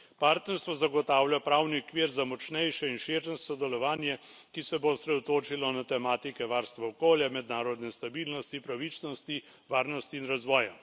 Partnerstvo zagotavlja pravni okvir za močnejše in širše sodelovanje, ki se bo osredotočilo na tematike varstva okolja, mednarodne stabilnosti, pravičnosti, varnosti in razvoja.